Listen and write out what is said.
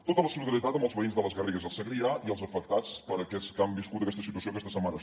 tota la solidaritat amb els veïns de les garrigues i el segrià i els afectats per aquests que han viscut aquesta situació aquesta setmana